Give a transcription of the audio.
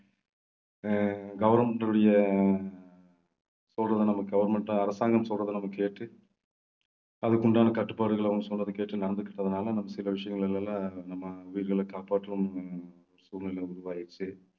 அஹ் government உடைய சொல்றதை நம்ம government அரசாங்கம் சொல்றதே நம்ம கேட்டு அதுக்கு உண்டான கட்டுப்பாடுகள் அவங்க சொல்றதைக் கேட்டு நடந்துக்கிட்டதுனால நம்ம சில விஷயங்கள் எல்லாம் நம்ம உயிர்களைக் காப்பாற்றணும்ன்னு சூழ்நிலை உருவாயிருச்சு.